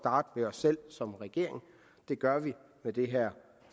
selv som regering og det gør vi med det her